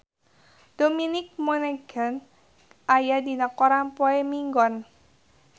Dominic Monaghan aya dina koran poe Minggon